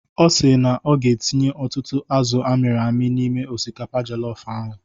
Ọ si na ọ ga-etinye ọtụtụ azụ amịrị amị n'ime osikapa jọlọf ahụ.